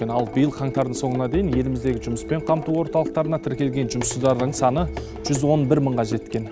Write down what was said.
ал биыл қаңтардың соңына дейін еліміздегі жұмыспен қамту орталықтарына тіркелген жұмыссыздардың саны жүз он бір мыңға жеткен